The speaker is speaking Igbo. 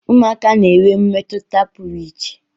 Ụmụaka na-enwe mmetụta pụrụ iche.